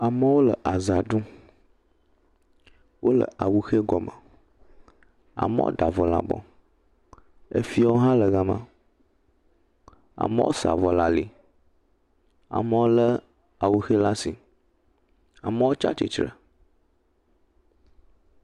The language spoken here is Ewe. Amewo le aza ɖum, wole awuxe gɔme, amewo da avɔ le abɔ, efiewo hã le gama, amewo sa avɔ le ali, amewo lé awuxe le asi, tsatsitre…